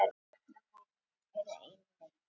Stjörnumenn eru einnig mættir.